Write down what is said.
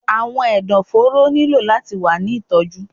Awọn ẹdọforo nilo lati wa ni itọju